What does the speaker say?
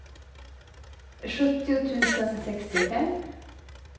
sjuttio tusen sextiofem